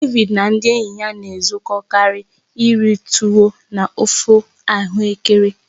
David na ndị enyi ya na-ezukọtakarị iri tuwo na ofe ahuekere.